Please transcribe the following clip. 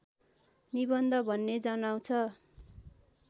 निबन्ध भन्ने जनाउँछ